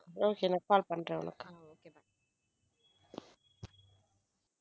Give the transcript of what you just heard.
Okay நான் call பண்றேன் உனக்கு.